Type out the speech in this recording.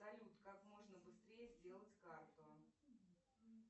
салют как можно быстрее сделать карту